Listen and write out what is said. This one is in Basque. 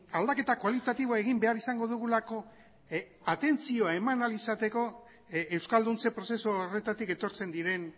aldaketa kualitatiboa egin behar izango dugulako atentzioa eman ahal izateko euskalduntze prozesu horretatik etortzen diren